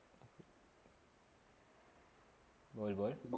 बोलबो